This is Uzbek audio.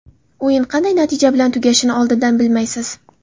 O‘yin qanday natija bilan tugashini oldindan bilmaysiz.